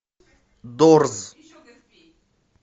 дорз